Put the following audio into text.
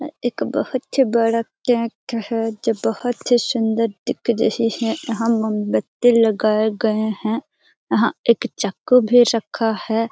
एक बहुत ही बड़ा केक है जो बहुत ही सुंदर दिख रहे है यहाँ मोमबत्ती लगाए गए हैं यहाँ एक चाकू भी रखा है।